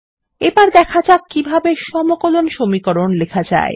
এবার দেখা যাক কিভাবে সমকলন সমীকরণ লেখা যায়